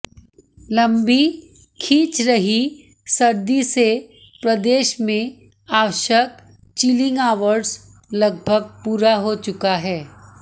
लंबी खिंच रही सर्दी से प्रदेश में आवश्यक चिलिंग आवर्ज लगभग पूरा हो चुका है